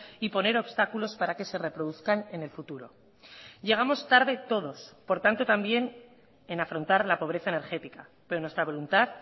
y poner obstáculos para que se reproduzcan en el futuro llegamos tarde todos por tanto también en afrontar la pobreza energética pero nuestra voluntad